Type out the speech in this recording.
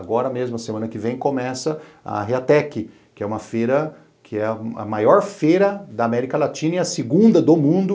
Agora mesmo, a semana que vem, começa a Reatec, que é uma feira, que é a maior feira da América Latina e a segunda do mundo